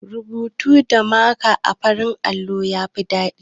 Rubutu da maka a farin allo ya fi daɗi.